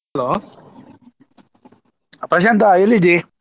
Hello Prashant ಎಲ್ಲಿದಿ?